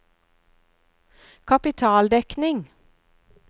kapitaldekning